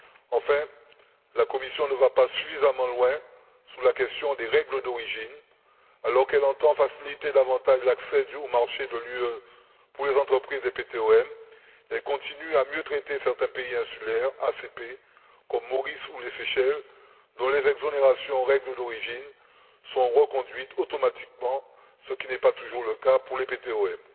Enfin, la Commission ne va pas suffisamment loin sur la question des règles d'origine alors qu'elle entend faciliter davantage l'accès aux marchés de l'UE pour les entreprises des PTOM et continue à mieux traiter certains pays insulaires ACP comme Maurice ou les Seychelles, dont les exonérations aux règles d'origine sont reconduites automatiquement, ce qui n'est pas toujours le cas pour les PTOM.